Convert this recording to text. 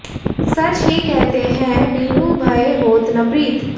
सच ही कहते हैं बिनु भय होत न प्रीत